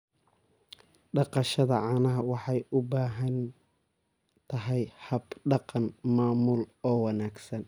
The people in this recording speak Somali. Dhaqashada caanaha waxay u baahan tahay hab-dhaqan maamul oo wanaagsan.